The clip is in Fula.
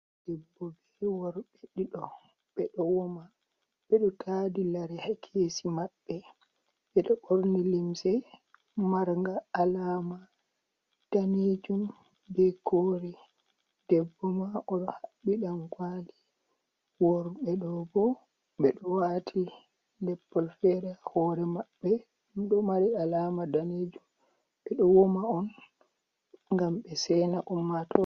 Debbo be worɓe ɗiɗo ɓe ɗo wama, ɓe ɗo taadi lare haa keesi maɓɓe. Ɓe ɗo ɓorni limse marnga alaama daneejum be koore. Debbo ma o haɓɓi ɗankooli, worɓe ɗo bo, ɓe ɗo waati leppol feere. Hoore maɓɓe ɗo mari alaama daneejum ɓe ɗo wama on, ngam ɓe seyna ummatoore.